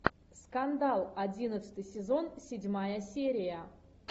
скандал одиннадцатый сезон седьмая серия